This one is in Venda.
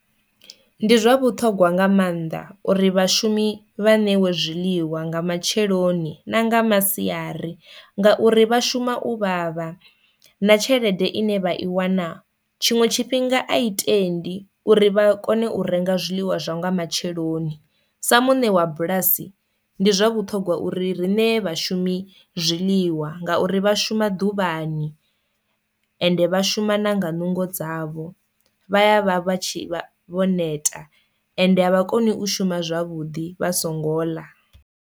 Ndi zwa vhuṱhogwa nga maanḓa uri vhashumi vha ṋewe zwiḽiwa nga matsheloni na nga masiari, ngauri vha shuma u vhavha na tshelede ine vha i wana tshiṅwe tshifhinga a i tendi uri vha kone u renga zwiḽiwa zwa nga matsheloni. Sa muṋe wa bulasi ndi zwa vhuṱhongwa uri ri ṋee vhashumi zwiliwa ngauri vha shuma ḓuvhani ende vha shuma nanga nungo dzavho vha ya vha vha tshi vho neta ende avha koni u shuma zwavhuḓi vha songo ḽa.